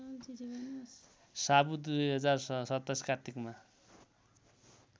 सावु २०२७ कार्तिकमा